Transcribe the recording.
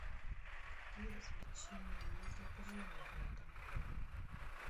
какие развлечения есть для пожилых в этом отеле